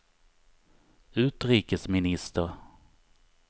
utrikesminister